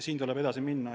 Siin tuleb edasi minna.